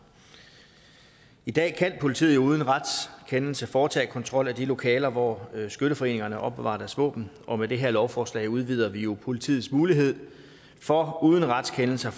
i dag kan politiet jo uden retskendelse foretage kontrol af de lokaler hvor skytteforeningerne opbevarer deres våben og med det her lovforslag udvider vi jo politiets mulighed for uden retskendelse